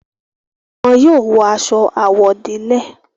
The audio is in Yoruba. Wọn yóò wọ aṣọ àwọ̀délẹ̀.